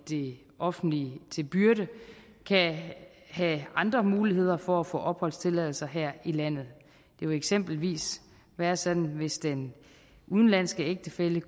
det offentlige til byrde kan have andre muligheder for at få opholdstilladelse her i landet det vil eksempelvis være sådan hvis den udenlandske ægtefælle